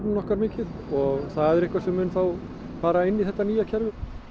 okkar mikið og það er eitthvað sem mun þá fara inn í þetta nýja kerfi